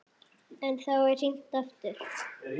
En þá er hringt aftur.